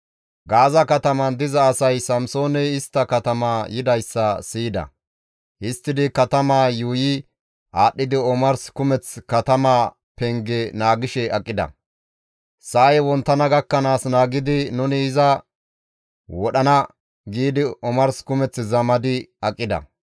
Gaaza katamaan diza asay Samsooney istta katama yidayssa siyida; histtidi katamaa yuuyi aadhdhidi omars kumeth katamaa penge naagishe aqida; «Sa7ay wonttana gakkanaas naagidi nuni iza wodhana» giidi omars kumeth zamadi aqida.